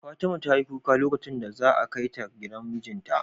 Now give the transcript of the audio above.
Fatima tayi kuka lokacin da za a kai ta gidan mijinta